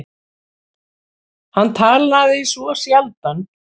Hann talaði svo sjaldan.